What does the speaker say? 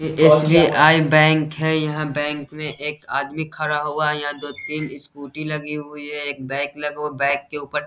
ये SBI. Bank है यह बैंक में एक आदमी खड़ा हुआ है यहाँ दो तीन स्कूटी लगी हुई हैं एक बैग लगा हुआ है बैग के उपर --